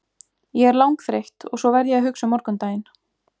Ég er langþreytt og svo verð ég að hugsa um morgundaginn.